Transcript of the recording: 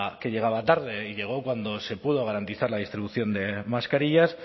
que llegaba tarde y llegó cuando se pudo garantizar la distribución de mascarillas